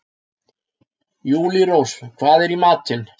Júlírós, hvað er í matinn?